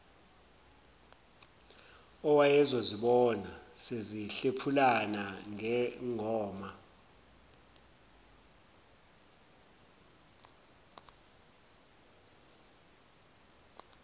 owayezozibona sezihlephulana ngengoma